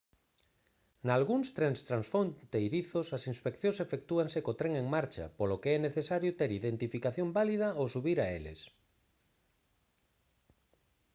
nalgúns trens transfronteirizos as inspeccións efectúanse co tren en marcha polo que é necesario ter identificación válida ao subir a eles